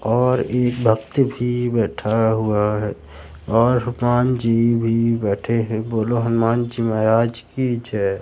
और एक भक्त भी बैठा हुआ है और हनुमान जी भी बैठे है बोलो हनुमान जी महाराज की जय--